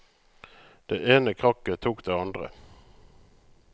Det ene krakket tok det andre.